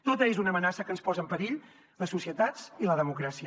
tota és una amenaça que ens posa en perill les societats i la democràcia